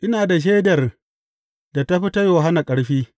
Ina da shaidar da ta fi ta Yohanna ƙarfi.